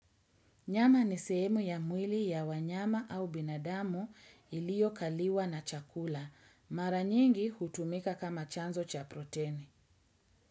Nyama ni sehemu ya mwili ya wanyama au binadamu ilio kaliwa na chakula. Mara nyingi hutumika kama chanzo cha proteni.